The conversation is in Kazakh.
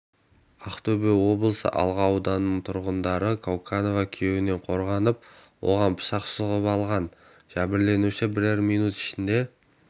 ақтөбе облысы алға ауданының тұрғыны кауканова күйеуінен қорғанып оған пышақ сұғып алған жәбірленуші бірер минут ішінде